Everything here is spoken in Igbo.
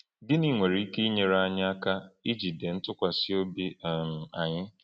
Gịnị nwere ike inyere anyị aka ijide ntụkwasị obi um anyị?